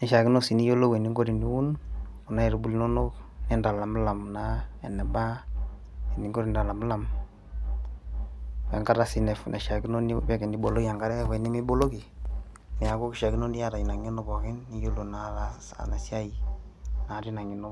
nishiakino sii niyiolou eninko teniun kuna aitubulu inonok nintalamilam naa eneba eninko tenintalamilam wenkata sii naishiakino niboloki enkare wenimi boloki niaku kishiakino niata ina ng'eno pookinn niyiolo naa ataasa ina siai naa tina ng'eno.